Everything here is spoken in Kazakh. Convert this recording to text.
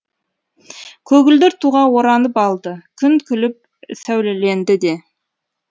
көгілдір туға оранып алды күн күліп сәулеленді де